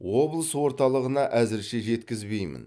облыс орталығына әзірше жеткізбеймін